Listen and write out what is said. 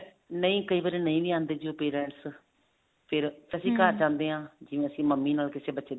ਨਹੀਂ ਕਈ ਵਾਰ ਨਹੀਂ ਵੀ ਆਉਂਦੇ ਉਹ parents ਫ਼ੇਰ ਜਾਂਦੇ ਹਾਂ ਜਿਵੇਂ ਅਸੀਂ ਮੰਮੀ ਨਾਲ ਕਿਸੇ ਬੱਚੇ ਦੀ